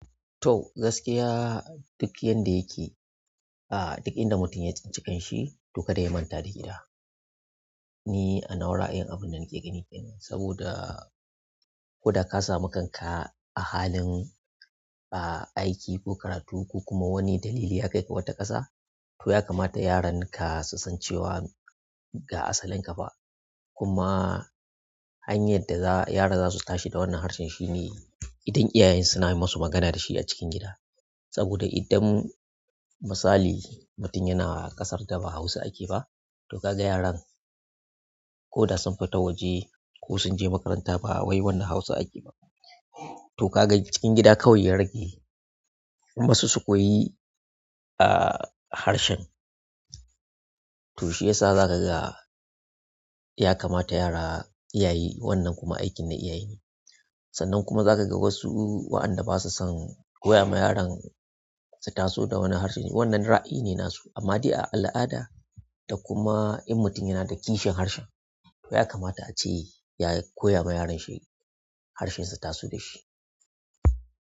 To gaskiya duk yanda yake, aa duk inda mutum ya tsinci kanshi to kada ya manta da gida. Ni a nawa ra'ayin abunda nake gani kenan, saboda koda ka sami kanka a halin ah aiki ko karatu ko kuma wani dalili haka ya kaika wata ƙasa, to ya kamata yaran ka susan cewa ga asalin ƙafa. Kuma hanyar daza--, yara zasu tashi da wannan harshen shine idan iyayen suna yi musu magana dashi a cikin gida. Saboda idan misali mutum yana ƙasar daba Hausa ake ba, to kaga yaran koda sun fita waje ko sunje makaranta ba wai wanna Hausa ake ba. To kaga cikin gida kawai ya rage, kuma su sukoyi ah harshen. To shiyasa zakaga ya kamata yara iyaye wannan kuma aikin na iyaye ne. Sannan kuma zakaga wasu wa'anda basu son koya ma yaran su taso da wani harshe, wannan ra'ayi ne nasu. Amma de a al'ada da kuma in mutum yanada kishin harshen to yakamta ace ya koya ma yarashi harshen su taso dashi.